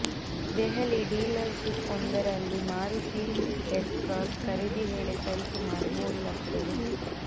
Delhi dealership ವೊಂದರಲ್ಲಿ Maruti S cross ಖರೀದಿ ವೇಳೆ ಸರಿ ಸುಮಾರು ಮೂರು ಲಕ್ಷ ರು